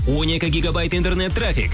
он екі гегабайт интернет трафик